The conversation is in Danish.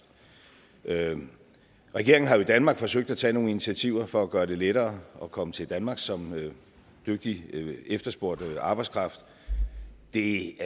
regeringen regeringen har jo i danmark forsøgt at tage nogle initiativer for at gøre det lettere at komme til danmark som en dygtig efterspurgt arbejdskraft det